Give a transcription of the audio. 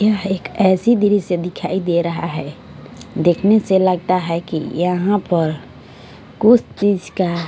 यह एक ऐसी दृश्य दिखाई दे रहा है देखने से लगता है की यहाँ पर कुछ चीज़ का--